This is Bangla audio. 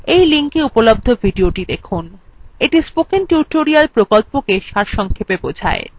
এই linkএ উপলব্ধ videothe দেখুন এটি spoken tutorial প্রকল্পটি সারসংক্ষেপে বোঝায়